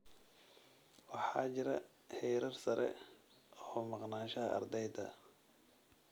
Waxaa jira heerar sare oo maqnaanshaha ardayda rer .